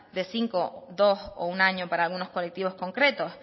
de cinco dos o un año para algunos colectivos concretos